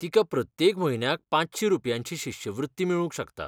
तिका प्रत्येक म्हयन्याक पांचशी रुपयांची शिश्यवृत्ती मेळूंक शकता.